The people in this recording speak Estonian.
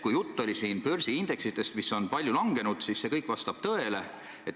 Mis puutub börsiindeksitesse, mis on palju langenud, siis see vastab tõele.